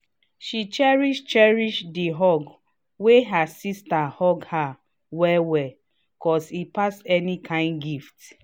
she cherish cherish the hug wey her sister hug her well well cos e pass any kind gift